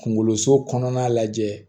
Kunkoloso kɔnɔna lajɛ